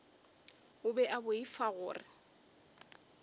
o be a boifa gore